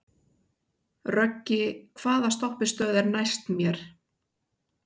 Röggi, hvaða stoppistöð er næst mér?